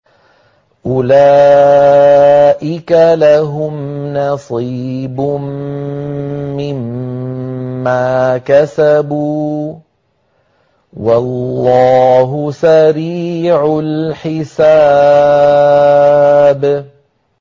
أُولَٰئِكَ لَهُمْ نَصِيبٌ مِّمَّا كَسَبُوا ۚ وَاللَّهُ سَرِيعُ الْحِسَابِ